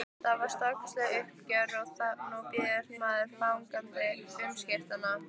Það var stórkostlegt uppgjör og nú bíður maður fagnandi umskiptanna.